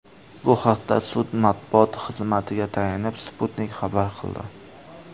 Bu haqda sud matbuot xizmatiga tayanib, Sputnik xabar qildi .